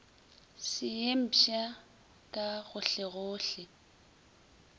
se ye mpsha ka gohlegohle